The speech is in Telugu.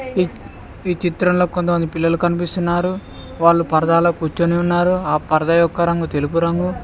ఈ చిత్రంలో కొంత మంది పిల్లలు కనిపిస్తున్నారు వాళ్లు పరదాలో కూర్చొని ఉన్నారు ఆ పరద యొక్క రంగు తెలుపు రంగు.